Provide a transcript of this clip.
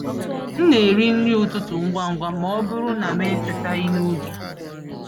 M na-eri nri ụtụtụ ngwa ngwa ma ọ bụrụ na m atetaghị n’oge.